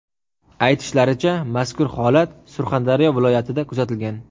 Aytishlaricha, mazkur holat Surxondaryo viloyatida kuzatilgan.